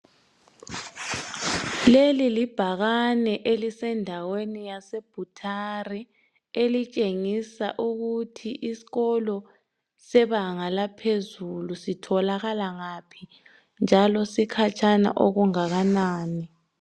Leli libhakane elisendaweni yase Bhuthare elitshengisa ukuthi isikolo sebanga laphezulu sitholakala ngaphi, njalo sikhatshana okungakanani.